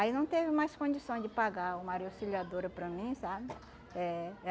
Aí não teve mais condições de pagar o Maria Auxiliadora para mim, sabe? É.